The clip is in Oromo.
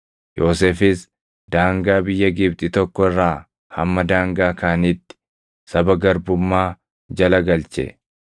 Yoosefis daangaa biyya Gibxi tokko irraa hamma daangaa kaaniitti saba garbummaa jala galche.